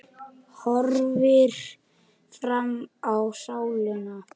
Horfir fram í salinn.